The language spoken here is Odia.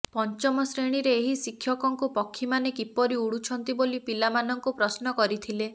ପଞ୍ଚମ ଶ୍ରେଣୀରେ ଏହି ଶିକ୍ଷକଙ୍କୁ ପକ୍ଷୀମାନେ କିପରି ଉଡୁଛନ୍ତି ବୋଲି ପିଲାମାନଙ୍କୁ ପ୍ରଶ୍ନ କରିଥିଲେ